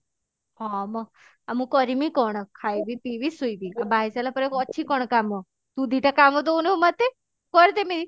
ହଁ ମ ଆଉ ମୁଁ କରିମି କଣ ଖାଇବି ପିଇବି ଶୁଇବି ବାହା ହେଇସାରିଲା ପରେ ଆଉ ଅଛି କଣ କାମ ତୁ ଦି ଟା କାମ ଦଉନୁ ମୋତେ କରିଦେମି